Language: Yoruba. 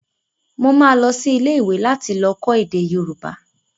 Mo máa lọ sí ilé ìwé láti lọ kọ́ èdè Yorùbá